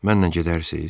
Mənlə gedərsiz?